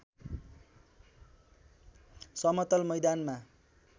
समतल मैदानमा